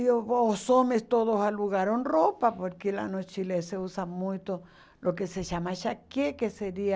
E o os homens todos alugaram roupa, porque lá no Chile eh se usa muito o que se chama chaqué, que seria...